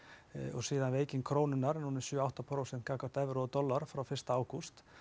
og veiking krónunnar um sjö til átta prósent frá evru og dollara frá fyrsta ágúst